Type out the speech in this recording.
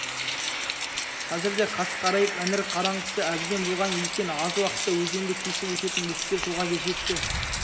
қазірде қас қарайып іңір қараңғысы әбден болған екен аз уақытта өзенді кесіп өтетін бөктер жолға жетті